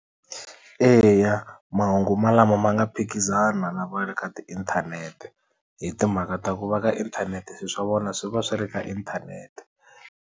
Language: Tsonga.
Eya mahungu malama ma nga phikizana na va le ka tiinthanete hi timhaka ta ku va ka inthanete swiswa vona swi va swi ri ka inthanete.